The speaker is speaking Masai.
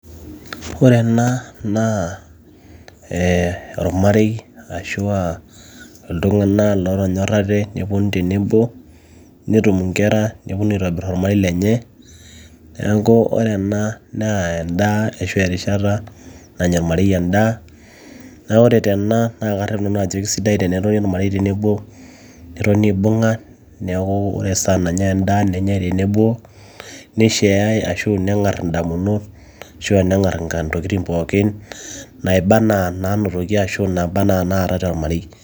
ore ena naa eh ormarei arashua iltung'anak lootonyorrate neponu tenebo netum inkera neponu aitobirr ormarei lenye niaku ore ena endaa ashu erishata nanya ormarei endaa naa ore tena naa karrep nanu ajo kisidai tenetoni ormarei tenebo netoni aibung'a neeku ore esaa nanyai endaa nenyai tenebo nisheai ashu neng'arr indamunot ashu neng'arr intokitin pookin naiba enaa naanotoki ashu naaba anaa naatay tormarei.